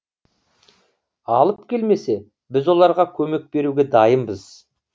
алып келмесе біз оларға көмек беруге дайынбыз